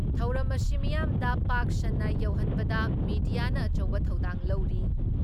ꯊꯧꯔꯝ ꯑꯁꯤ ꯃꯤꯌꯥꯝꯗ ꯄꯥꯛ ꯁꯟꯅ ꯌꯧꯍꯟꯕꯗ ꯃꯤꯗꯤꯌꯥꯅ ꯑꯆꯧꯕ ꯊꯧꯗꯥꯡ ꯂꯧꯔꯤ ꯫